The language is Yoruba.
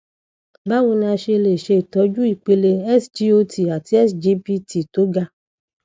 báwo ni a ṣe lè ṣe itọju ipele sgot àti sgpt tó ga